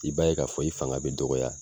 I b'a ye k'a fɔ i fanga bi dɔgɔya